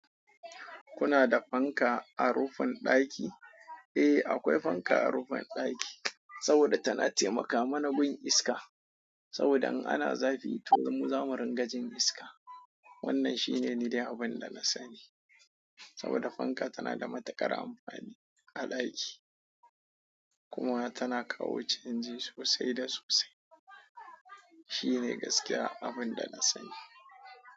Kuna da fanka a rufin ɗaki? Eh, akwai fanka a rufin ɗaki, saboda tana taimaka mana gun iska. Saboda in ana zafi, to mu zamu ringa jin iska. Wannan shine ni dai abun da na sani saboda fanka tana da matuƙar amfani a ɗaki kuma tana kawo canji sosai da sosai. Shi ne gaskiya abin da na sani.